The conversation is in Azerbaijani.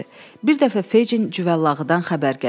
Bir dəfə Fecin cüvəllağıdan xəbər gətirdi.